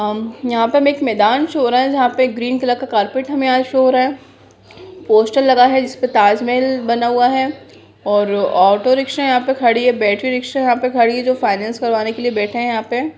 अम यहाँ पे हमें एक मैदान शो हो रहा है जहाँ पे ग्रीन कलर का कार्पेट हमें यहाँ शो हो रहा है पोस्टर लगा है जिसपे ताजमहल बना हुआ है और ऑटो रिक्शा यहाँ पे खड़ी है बैटरी रिक्शा यहाँ पे खड़ी है जो फाइनेंस करवाने के लिए बैठे है यहाँ पे।